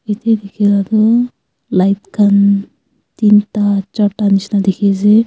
yete dekhia la tu light khan teenda chaarda nishena dekhi ase.